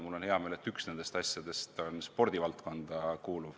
Mul on hea meel, et üks nendest asjadest kuulub spordivaldkonda.